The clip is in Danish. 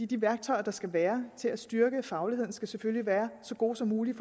de værktøjer der skal være til at styrke fagligheden skal selvfølgelig være så gode som muligt